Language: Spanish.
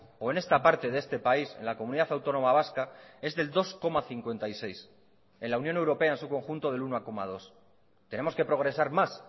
o en esta parte de este país en la comunidad autónoma vasca es del dos coma cincuenta y seis en la unión europea en su conjunto del uno coma dos tenemos que progresar más